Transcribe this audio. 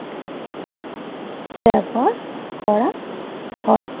ব্যবহার করা হয়